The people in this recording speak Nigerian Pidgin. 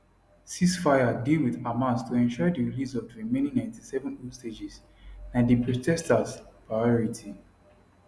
ceasefire deal wit hamas to ensure di release of di remaining 97 hostages na di protesters priority